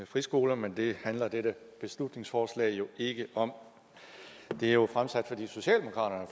friskoler men det handler dette beslutningsforslag jo ikke om det er jo fremsat fordi socialdemokraterne